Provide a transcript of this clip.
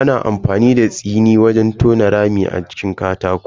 Ana amfani da tsiri wajen tona rami a jikin katako.